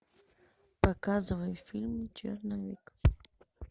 показывай фильм черновик